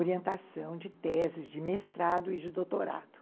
orientação de teses, de mestrado e de doutorado.